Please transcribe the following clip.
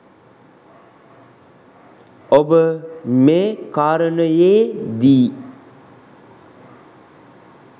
ඔබ මේ කාරණයේදී